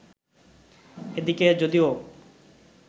এদিকে যদিও